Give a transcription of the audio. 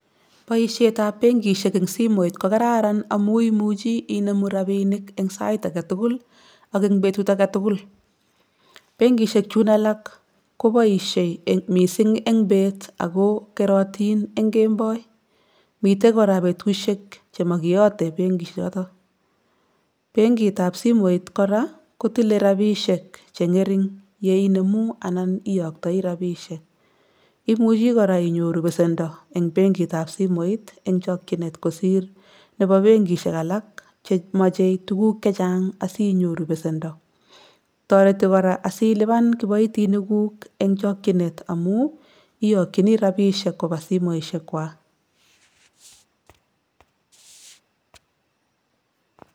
Poishetab benkishek eng simuit ko kararan amu imuchi inomu robinik eng sait agetukul, ak eng betut agetugul. Benkishek chun alak ko boishei mising eng beet ak kerotin eng kemboi. Mite kora betushek che magiyate benki choto. Benki kap simuit kora kotile ropishek che ng'ering ye inomu anan iyoktoi ropishek. Imuchi kora inyoru pesendo, eng benkitap simuit eng' chokchinet kosiir nebo benkishek alak che mache tuguk chechang inyoru besendo eng chokchine kosir benkishek alak che machei tuguk che chang si nyoru besendo. Toreti kora asiliban kiboitiniguk eng chokchinet amu iyokchini robishek ko ba simuishek kwaak.